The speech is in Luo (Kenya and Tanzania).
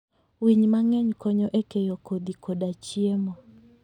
Winy mang'eny konyo e keyo kodhi koda chiemo.